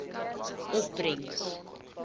opbrengs